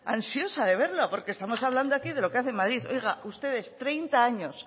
ansiosa de verlo porque estamos hablando aquí de lo que hace madrid oiga ustedes treinta años